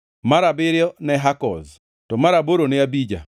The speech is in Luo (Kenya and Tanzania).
mar abiriyo ne Hakoz, to mar aboro ne Abija,